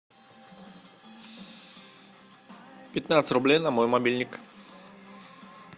пятнадцать рублей на мой мобильник